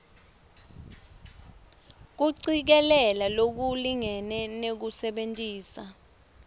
kucikelela lokulingene nekusebentisa